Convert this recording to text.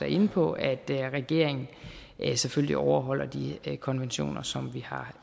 inde på at regeringen selvfølgelig overholder de konventioner som vi har